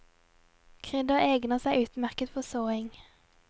Krydder egner seg utmerket for såing.